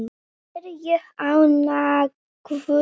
Er ég ánægður?